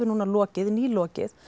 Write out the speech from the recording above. nú nýlokið nýlokið